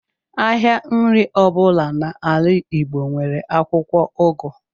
Ahịa nri ọbụla n’ala Igbo nwere akwụkwọ ugu